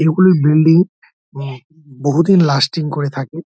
এইগুলো বিল্ডিং বহুদিন লাস্টিং করে থাকে।